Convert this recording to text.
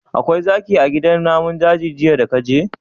Akwai zaki a gidan namun daji jiya daka je?